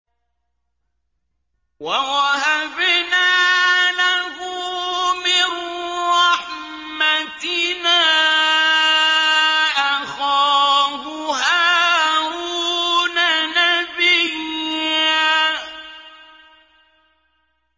وَوَهَبْنَا لَهُ مِن رَّحْمَتِنَا أَخَاهُ هَارُونَ نَبِيًّا